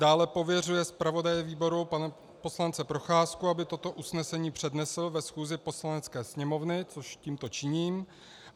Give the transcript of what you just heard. Dále pověřuje zpravodaje výboru pana poslance Procházku, aby toto usnesení přednesl ve schůzi Poslanecké sněmovny, což tímto činím.